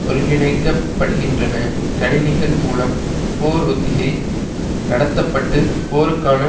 ஒருங்கிணைக்கப்படுகின்றன கணினிகள் மூலம் போர் ஒத்திகை நடத்த பட்டு போருக்கான